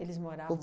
moravam.